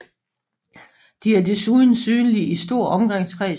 De er desuden synlige i stor omkreds